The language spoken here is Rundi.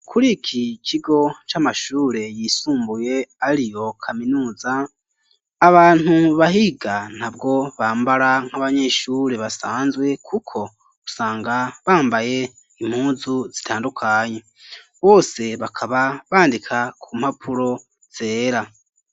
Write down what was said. Kuri iki kigo c'amashure yisumbuye ariyo kaminuza abantu bahiga ntabwo bambara nk'abanyeshure basanzwe, kuko usanga bambaye impunzu zitandukanye, bose bakaba bandika ku mpapuro zera.